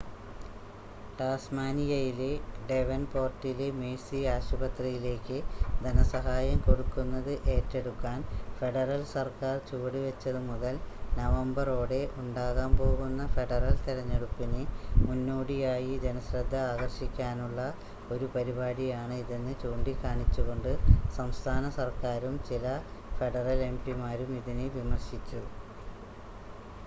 ടാസ്മാനിയയിലെ ഡേവൻപോർട്ടിലെ മേഴ്‌സി ആശുപത്രിയിലേക്ക് ധനസഹായം കൊടുക്കുന്നത് ഏറ്റെടുക്കാൻ ഫെഡറൽ സർക്കാർ ചുവട് വെച്ചത് മുതൽ നവംബറോടെ ഉണ്ടാകാൻ പോകുന്ന ഫെഡറൽ തെരഞ്ഞെടുപ്പിന് മുന്നോടിയായി ജനശ്രദ്ധ ആകർഷിക്കാനുള്ള ഒരു പരിപാടിയാണ് ഇതെന്ന് ചൂണ്ടി കാണിച്ചുകൊണ്ട് സംസ്ഥാന സർക്കാരും ചില ഫെഡറൽ എംപിമാരും ഇതിനെ വിമർശിച്ചു